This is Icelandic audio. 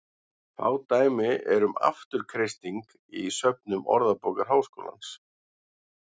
Fá dæmi eru um afturkreisting í söfnum Orðabókar Háskólans.